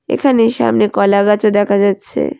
এখানে সামনে কলাগাছও দেখা যাচ্ছে।